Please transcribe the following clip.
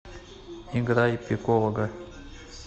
играй пикового